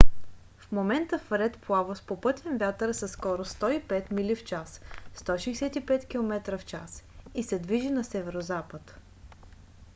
в момента фред плава с попътен вятър със скорост 105 мили в час 165 км/ч и се движи на северозапад